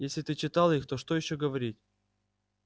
если ты читал их то что ещё говорить